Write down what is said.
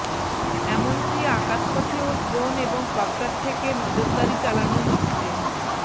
এমনকী আকাশপথেও ড্রোন এবং কপ্টার থেকে নজরদারি চালানো হচ্ছে